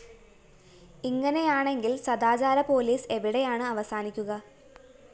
ഇങ്ങനെയാണെങ്കില്‍ സദാചാര പോലീസ് എവിടെയാണ് അവസാനിക്കുക